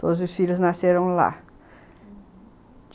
Todos os filhos nasceram lá, uhum.